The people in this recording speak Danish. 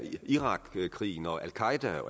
irakkrigen og al qaeda